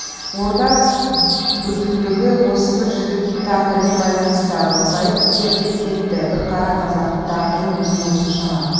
орда бүтіндігі осы бір жігіттің тағдырымен байланысты әбілқайыр терлеп кетті бір қара қазақтың тағдырының өзіне осыншама